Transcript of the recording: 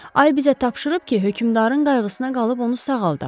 Ay bizə tapşırıb ki, hökümdarın qayğısına qalıb onu sağaldaq.